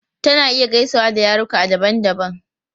Tana iya gaisawa da yaruka daban-daban.